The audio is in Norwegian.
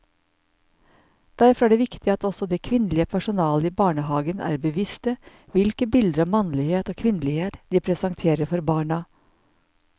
Derfor er det viktig at også det kvinnelige personalet i barnehagen er bevisste hvilke bilder av mannlighet og kvinnelighet de presenterer for barna.